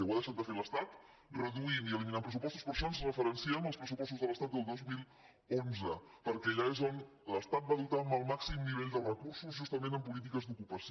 ho ha deixat de fer l’estat reduint i eliminat pressupostos per això ens referenciem als pressupostos de l’estat del dos mil onze perquè allà és on l’estat va dotar el màxim nivell de recursos justament en polítiques d’ocupació